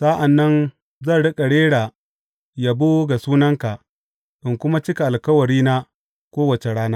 Sa’an nan zan riƙa rera yabo ga sunanka in kuma cika alkawarina kowace rana.